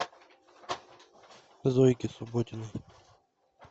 зойке субботиной